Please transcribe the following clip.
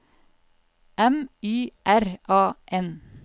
M Y R A N